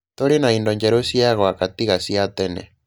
Tũrĩ na indo njerũ cia gwaka tiga cia tene.